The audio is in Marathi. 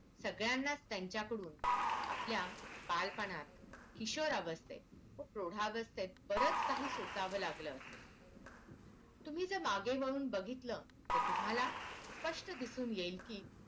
सगळ्यालाच त्यांच्या कडून आपल्या बालपणात किशोर अवस्थेत व प्रौढावस्थेत बरच काही सोसावं लागलं असेल तुम्हीजर मागे वळून बघितलं तर तुम्हाला स्पष्ट दिसून येईल कि